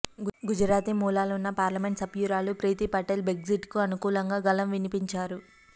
గుజరాతీ మూలాలు ఉన్న పార్లమెంట్ సభ్యురాలు ప్రీతి పటేల్ బ్రెగ్జిట్కు అనుకూలంగా గళం వినిపించారు